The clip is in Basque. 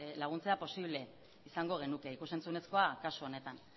laguntzea posible izango genuke ikus entzunezkoa kasu honetan